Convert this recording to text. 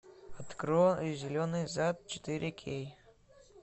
открой зеленый зад четыре кей